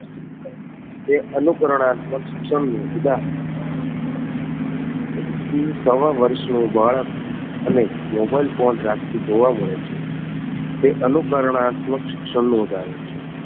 તે અનુકરણાત્મક શિક્ષણ નું ઉદાહરણ છે એક થી સવા વર્ષ નું બાળક અને મોબાઈલ ફોન રાખતું જોવા મળે છે તે અનુકરણાત્મક શિક્ષણ નું ઉદાહરણ છે